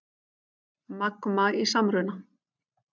Magma í samruna